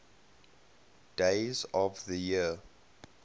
days of the year